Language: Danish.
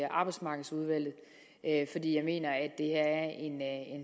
arbejdsmarkedsudvalget fordi jeg mener at det her er en